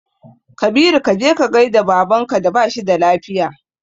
Kabiru kaje ka gaida baban ka da bashi da lafiya